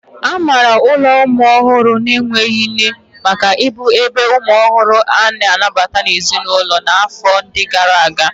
A maara ụlọ ụmụ ọhụrụ na-enweghị nne maka ịbụ ebe umu ohuru a-na anabata n'ezinulo na afọ ndi gara aga.